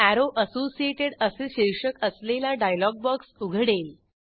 arrow associated असे शीर्षक असलेला डायलॉग बॉक्स उघडेल